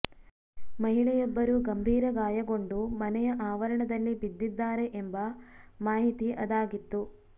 ಮಹಿಳೆಯೊಬ್ಬರು ಗಂಭೀರ ಗಾಯಗೊಂಡು ಮನೆಯ ಆವರಣದಲ್ಲಿ ಬಿದ್ದಿದ್ದಾರೆ ಎಂಬ ಮಾಹಿತಿ ಅದಾಗಿತ್ತು